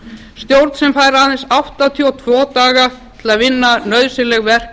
stjórn sem fær aðeins áttatíu og tvo daga til að vinna nauðsynleg verk